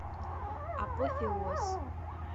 апофеоз